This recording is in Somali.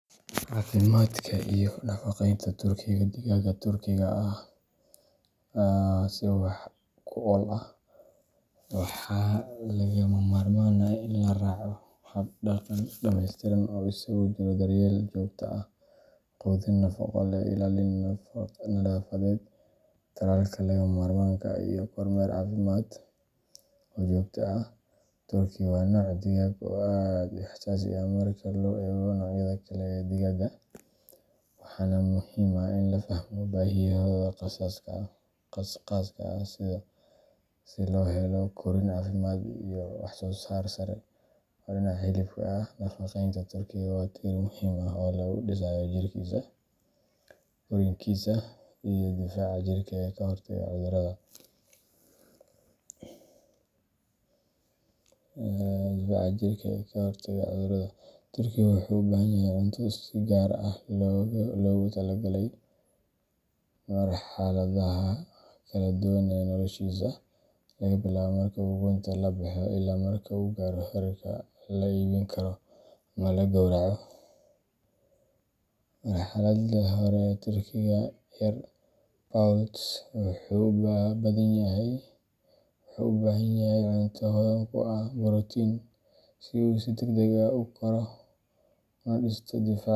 Caafimaadka iyo nafaqeynta turkiga digaagga Turkiga ah si wax ku ool ah, waxaa lagama maarmaan ah in la raaco hab-dhaqan dhameystiran oo isugu jira daryeel joogto ah, quudin nafaqo leh, ilaalin nadaafadeed, tallaalka lagama maarmaanka ah, iyo kormeer caafimaad oo joogto ah. Turkiga waa nooc digaag ah oo aad u xasaasi ah marka loo eego noocyada kale ee digaagga, waxaana muhiim ah in la fahmo baahiyahooda khaaska ah si loo helo korriin caafimaad leh iyo wax-soo-saar sare oo dhinaca hilibka ah. Nafaqeynta turkiga waa tiir muhiim ah oo lagu dhisayo jirkiisa, korriinkiisa iyo difaaca jirka ee ka hortaga cudurrada. Turkiga wuxuu u baahan yahay cunto si gaar ah loogu talagalay marxaladaha kala duwan ee noloshiisa laga bilaabo marka uu ukunta ka soo baxo ilaa marka uu gaaro heerka la iibin karo ama la gowraco. Marxaladda hore, turkiga yar poult wuxuu u baahan yahay cunto hodan ku ah borotiin si uu si degdeg ah u koro una dhisto difaaca.